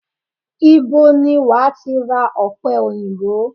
Ibo ni wàá ti ra ọ̀pẹ òyìnbó?